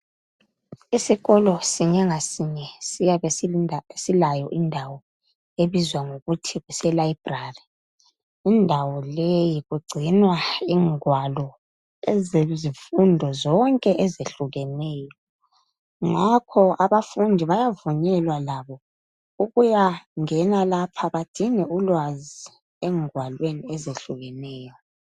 Isikolo sinye ngasinye siyabe silayo indawo ebizwa ngokuthl kuselibrary indawo leyi kugcinwa ingwalo ezezifundo zonke eziyehlukeneyo. Ngakho ababafundu bayavhunyelwa labo ukuyangena lapha badinge ulwazi engwalweni eziyehlukeneyo.